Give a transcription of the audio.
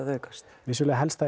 að aukast vissulega helst